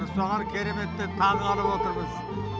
соған кереметтей таңғалып отырмыз